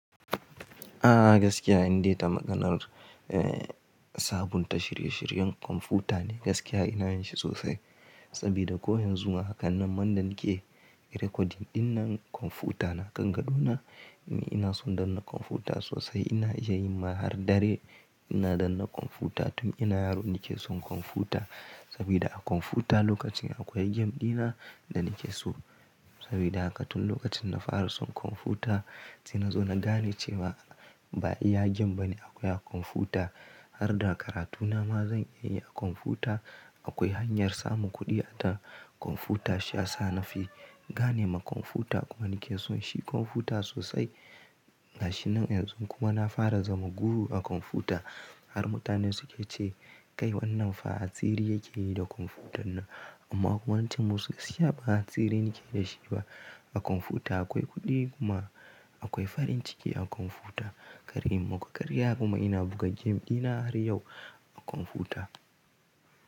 A gaskiya in dai ta maganar, eh sabunta shirye shiryen kwamfuta ne gaskiya ina yin shi sosai. Saboda ko yanzuma hakan nan man da nake recording dinnan kwamfuta na kan gado na, ina ina son dannar kwamfuta sosai. Ina iya yin ma har dare ina danna kwamfuta tun ina yaro nake son kwamfuta. Saboda a kwamfuta lokacin akwai game dina da nake so. Sabida haka tun lokacin na fara son kwamfuta, sai na zo na gane cewa ba iya game bane akwai a kwamfuta. Har da karatu na ma zan iya yi a kwamfuta. Akwai hanyar samun kuɗi a ta kwamfuta shiyasa na fi gane ma kwamfuta kuma nake son shi kwamfuta sosai. Gashi nan yanzu kuma na fara zama guru a kwamfuta. Har mutanen suke ce, "Kai wannan fa hatsiri yake yi da kwamfutan nan." Amma ko ance ma su gaskiya ba atsiri nake da shi ba. A kwamfuta akwai kuɗi kuma akwai farin ciki a kwamfuta. Kar in maku, karya kuma ina buga game dina har yau a kwamfuta.